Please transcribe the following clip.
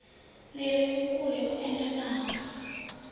li re vhukule hu edanaho